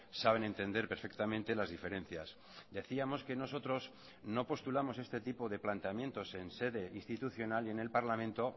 saben entender perfectamente las diferencias decíamos que nosotros no postulamos este tipo de planteamientos en sede institucional y en el parlamento